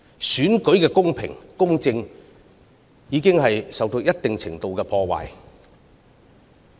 選舉的公平公正已受到一定程度的破壞。